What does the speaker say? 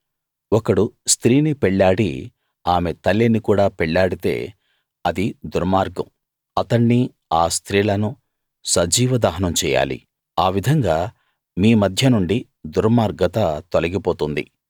ఒకడు స్త్రీని పెళ్ళాడి ఆమె తల్లిని కూడా పెళ్లాడితే అది దుర్మార్గం అతణ్ణి ఆ స్త్రీలను సజీవ దహనం చెయ్యాలి ఆ విధంగా మీ మధ్యనుండి దుర్మార్గత తొలిగిపోతుంది